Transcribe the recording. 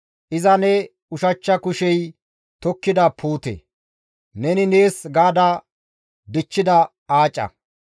Iza ne ushachcha kushey tokkida puute; neni nees gaada dichchida aaca.